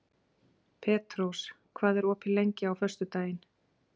Petrós, hvað er opið lengi á föstudaginn?